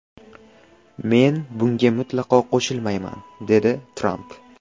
Men bunga mutlaqo qo‘shilmayman”, dedi Tramp.